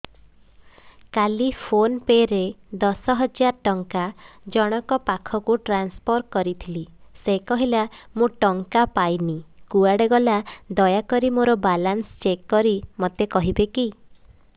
କାଲି ଫୋନ୍ ପେ ରେ ଦଶ ହଜାର ଟଙ୍କା ଜଣକ ପାଖକୁ ଟ୍ରାନ୍ସଫର୍ କରିଥିଲି ସେ କହିଲା ମୁଁ ଟଙ୍କା ପାଇନି କୁଆଡେ ଗଲା ଦୟାକରି ମୋର ବାଲାନ୍ସ ଚେକ୍ କରି ମୋତେ କହିବେ କି